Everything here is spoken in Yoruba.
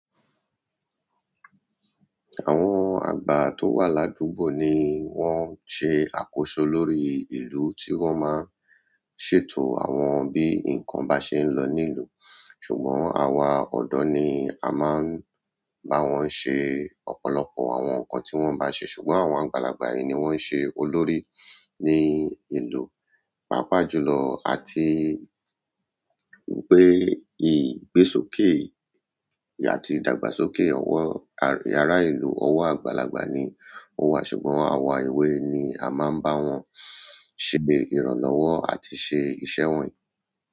Àwọn àgba tó wà ládúgbò ni wọ́n ń ṣe àkóso lórí ìlú tí wọ́n máa ń ṣètò àwọn bí nǹkan bá ṣe ń lọ nílùú. Ṣùgbọ́n àwa ọ̀dọ́ ni a máa ń bá wọn ṣe ọ̀pọ̀lọpọ̀ àwọn nǹkan tí wọ́n bá ṣe. Ṣùgbọ́n àwọn àgbàlagbà yẹn ni wón ṣe olórí ni iluu pápá jùlọ àti pé ìgbésókè àti ìdàgbàsókè àwọn ará ìlú ọwọ́ àgbàlagbà ni ó wà. Ṣùgbọ́n àwa ewé ni a máa ń bá wọn ṣe ìrànlọ́wọ́ àti ṣe iṣẹ́ wọ́nyii.